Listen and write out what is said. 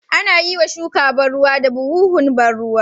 Anayiwa shuka ban ruwa da buhuhun ban ruwa